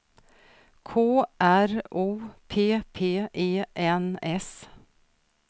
K R O P P E N S